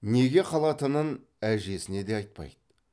неге қалатынын әжесіне де айтпайды